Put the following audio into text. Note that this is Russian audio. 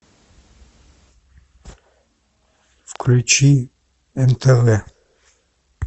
включи нтв